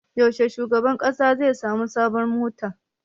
Yaushe shugaban ƙasa zai sami sabon mota?